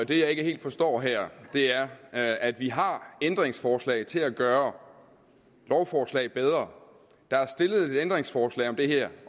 det jeg ikke helt forstår her er er at vi har ændringsforslag til at gøre lovforslag bedre og der er stillet et ændringsforslag om det her